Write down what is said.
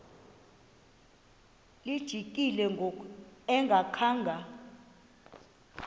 lijikile ngoku engakhanga